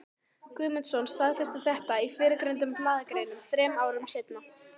Guðmundsson, staðfesti það í fyrrgreindum blaðagreinum þrem árum seinna.